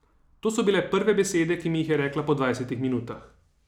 To so bile prve besede, ki mi jih je rekla po dvajsetih minutah.